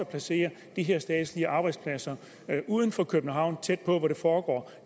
placere de her statslige arbejdspladser uden for københavn tæt på hvor det foregår